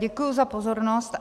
Děkuji za pozornost.